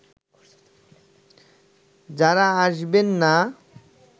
যারা আসবেন না